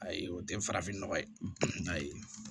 Ayi o tɛ farafin nɔgɔ ye ayi